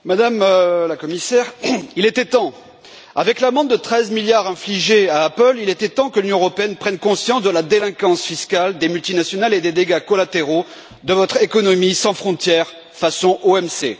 Madame la Présidente, Madame la Commissaire, il était temps! Avec l'amende de treize milliards infligée à Apple, il était temps que l'Union européenne prenne conscience de la délinquance fiscale des multinationales et des dégâts collatéraux de votre économie sans frontières façon OMC.